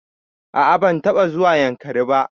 A a ban taɓa zuwa Yankari ba.